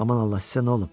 Aman Allah, sizə nə olub?